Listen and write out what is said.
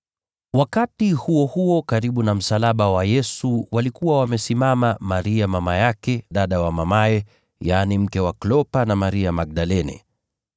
Wakati huo huo karibu na msalaba wa Yesu walikuwa wamesimama mama yake, na dada wa mamaye, na Maria mke wa Klopa, na Maria Magdalene.